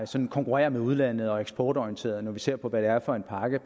sådan konkurrerer med udlandet og er eksportorienterede når vi ser på hvad det er for en pakke